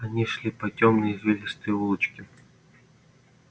они шли по тёмной извилистой улочке